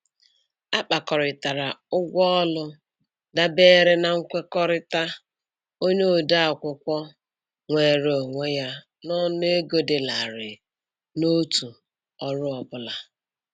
A kpakọrịtara ụgwọ ọrụ dabere na nkwekọrịta onye ode akwụkwọ nweere onwe ya n'ọnụego dị larịị n'otu ọrụ ọ bụla.